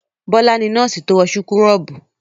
Bọ́lá ni nọ́ọ́sì tó wọ súkúrọ́bù.